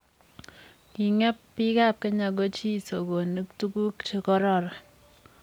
Kingeb biikab kenya ko chi sokonik tukuk che kororon.